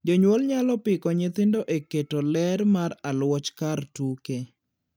Jonyuol nyalo piko nyithindo e keto ler mar aluoch kar tuke.